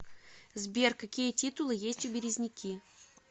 сбер какие титулы есть у березники